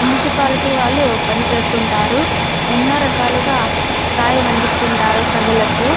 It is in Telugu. మున్సిపాలిటీ వాళ్ళు పనిచేస్తుంటారు ఎన్నో రకాలుగా సాయం అందిస్తుంటారు ప్రజలకు.